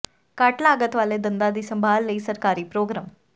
ਘੱਟ ਲਾਗਤ ਵਾਲੇ ਦੰਦਾਂ ਦੀ ਸੰਭਾਲ ਲਈ ਸਰਕਾਰੀ ਪ੍ਰੋਗਰਾਮ